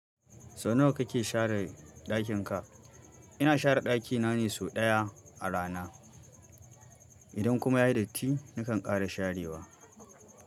Sau nawa kake share ɗakin ka? Ina share ɗaki na ne sau ɗaya a rana, idan kuma yayi datti, nakan ƙara sharewa.